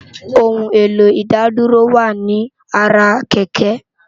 Óoun éló Idádúró wá ni àrá kèkè